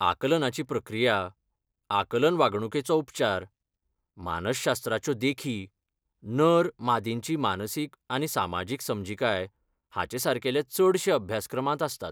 आकलनाची प्रक्रिया, आकलन वागणूकेचो उपचार, मानसशास्त्राच्यो देखी, नर, मादींची मानसीक आनी सामाजीक समजिकाय हाचेसारकेले चडशे अभ्यासक्रमांत आसतात.